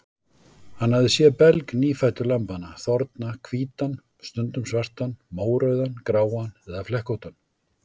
Hann hafði séð belg nýfæddu lambanna þorna hvítan, stundum svartan, mórauðan, gráan eða flekkóttan.